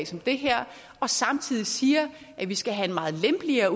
som det her og samtidig siger at vi skal have en meget lempeligere